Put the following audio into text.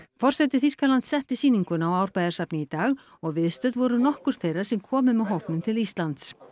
forseti Þýskalands setti sýninguna á Árbæjarsafni í dag og viðstödd voru nokkur þeirra sem komu með hópnum til Íslands